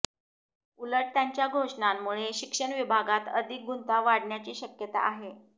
उलट त्यांच्या घोषणांमुळे शिक्षण विभागात अधिक गुंता वाढण्याची शक्यता आहे